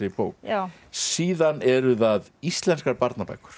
bók síðan eru það íslenskar barnabækur